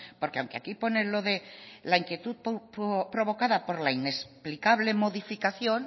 porque aunque aquí pone lo de la inquietud provocada por la inexplicable modificación